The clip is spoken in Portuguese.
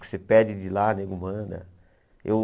Você pede de lá, nego manda. Eu